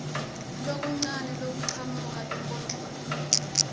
lokuncane lokuchamuka enkondlweni